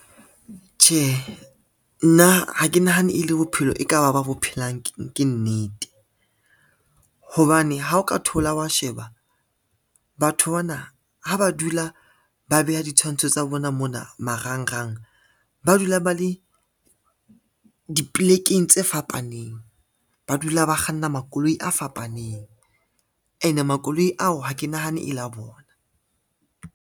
Tjhe, nna ha ke nahane e le bophelo e ka ba ba bo phelang ke nnete, hobane ha o ka thola wa sheba batho bana ha ba dula ba beha ditshwantsho tsa bona mona marangrang, ba dula ba le dipolekeng tse fapaneng, ba dula ba kganna makoloi a fapaneng ene makoloi ao ha ke nahane e la bona.